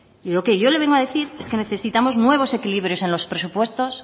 lo que yo le vengo a decir es que necesitamos nuevos equilibrios en los presupuestos